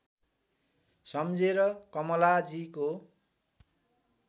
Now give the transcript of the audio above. सम्झेर कमलाजीको